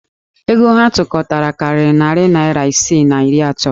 Ego ha tụkọtara karịrị narị naịra isi na iri atọ.